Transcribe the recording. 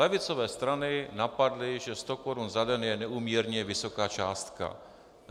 Levicové strany napadly, že sto korun za den je neúměrně vysoká částka.